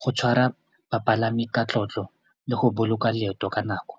go tshwara bapalami ka tlotlo le go boloka leeto ka nako.